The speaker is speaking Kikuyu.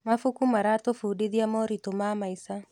Mabuku maratũbundithia moritũ ma maica.